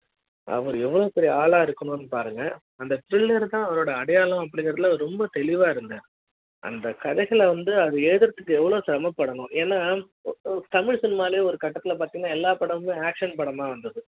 அவரு எவ்ளோ பெரிய ஆளா இருக்கு னு பாருங்க அந்த pillar தா அவரோட அடையாள ம் அப்படிங்கறது ரொம்ப தெளிவா இருந்த அந்த கதைகள் வந்து அத எழுதறதுக்கு எவ்ளோ செரம படனும் ஏன்னா தமிழ் cinema லே ஒரு கட்டிடத்துல பாத்தீங்கன்னா எல்லா படமும் action படமா வந்தது